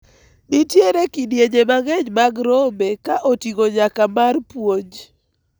nitiere kidienje mang'eny mag rombe ka oting'o nyaka mar puonj